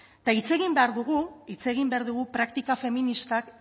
eta hitz egin behar dugu hitz egin behar dugu praktika feministak